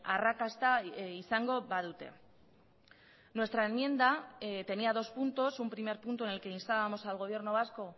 arrakasta izango badute nuestra enmienda tenía dos puntos un primer punto en el que instábamos al gobierno vasco